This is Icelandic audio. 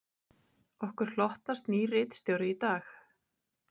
Okkur hlotnast nýr ritstjóri í dag